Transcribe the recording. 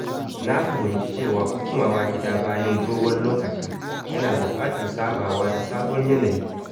Na fahimci cewa komawa gida bayan dogon lokaci yana buƙatar sabawa da sabon yanayi.